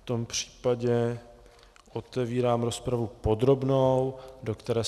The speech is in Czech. V tom případě otevírám rozpravu podrobnou, do které